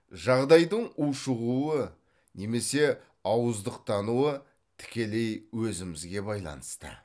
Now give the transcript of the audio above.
жағдайдың ушығуы немесе ауыздықтануы тікелей өзімізге байланысты